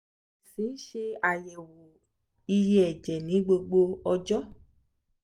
a si n ṣe ayẹwo iye ẹjẹ ni gbogbo ọjọ